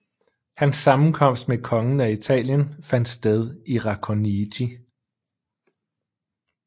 Hans sammenkomst med kongen af Italien fandt sted i Racconigi